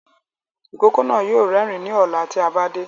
Ìkókó náà yóò rérìn ní ọ̀la ti a bá dé